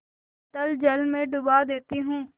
अतल जल में डुबा देती हूँ